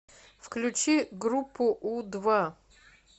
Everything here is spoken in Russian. включи группу у два